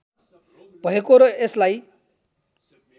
भएको र यसलाई